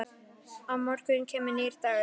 Á morgun kemur nýr dagur.